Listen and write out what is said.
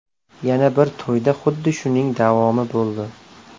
Yana bir to‘yda xuddi shuning davomi bo‘ldi.